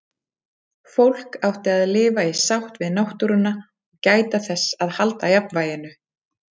Fólk átti að lifa í sátt við náttúruna og gæta þess að halda jafnvæginu.